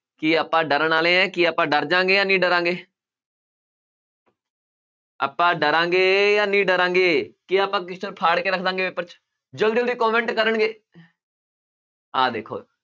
ਕੀ ਆਪਾਂ ਡਰਨ ਵਾਲੇ ਹੈ, ਕੀ ਆਪਾਂ ਡਰ ਜਾਵਾਂਗੇ ਜਾਂ ਨਹੀਂ ਡਰਾਂਗੇ ਆਪਾਂ ਡਰਾਂਗੇ ਜਾਂ ਨਹੀਂ ਡਰਾਂਗੇ ਕੀ ਆਪਾਂ ਫਾੜ ਕੇ ਰੱਖ ਦੇਵਾਂਗੇ paper 'ਚ ਜ਼ਲਦੀ ਜ਼ਲਦੀ comment ਕਰਨਗੇ ਆਹ ਦੇਖੋ